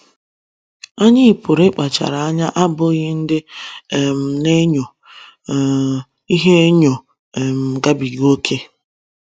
Anyị pụrụ ịkpachara anya n’abụghị ndị um na - enyo um ihe enyo um gabiga ókè.